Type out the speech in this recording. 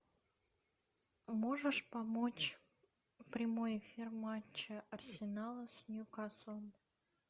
можешь помочь прямой эфир матча арсенала с ньюкаслом